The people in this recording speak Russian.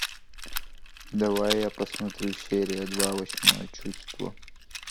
давай я посмотрю серия два восьмое чувство